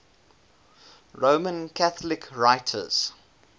roman catholic writers